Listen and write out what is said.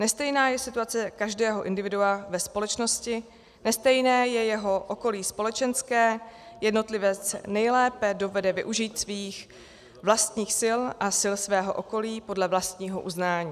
Nestejná je situace každého individua ve společnosti, nestejné je jeho okolí společenské, jednotlivec nejlépe dovede využít svých vlastních sil a sil svého okolí podle vlastního uznání.